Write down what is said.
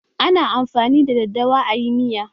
Ana amfani da daddawa a yi miya.